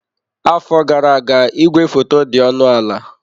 Afọ gara aga igwefoto dị ọnụ ala.